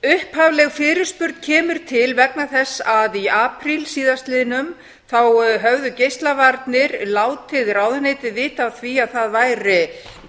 upphafleg fyrirspurn kemur til vegna þess að í apríl síðastliðnum þá höfðu geislavarnir látið ráðuneytið vita af því af því að það væri